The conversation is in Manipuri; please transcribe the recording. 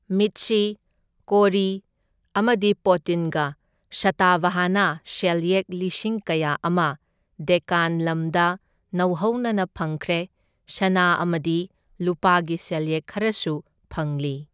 ꯃꯤꯠꯁꯤ, ꯀꯣꯔꯤ ꯑꯃꯗꯤ ꯄꯣꯇꯤꯟꯒ ꯁꯇꯥꯚꯥꯍꯥꯅꯥ ꯁꯦꯜꯌꯦꯛ ꯂꯤꯁꯤꯡ ꯀꯌꯥ ꯑꯃ ꯗꯦꯛꯀꯥꯟ ꯂꯝꯗꯝꯗ ꯅꯧꯍꯧꯅꯅ ꯐꯪꯈ꯭ꯔꯦ, ꯁꯅꯥ ꯑꯃꯗꯤ ꯂꯨꯄꯥꯒꯤ ꯁꯦꯜꯌꯦꯛ ꯈꯔꯁꯨ ꯐꯪꯂꯤ꯫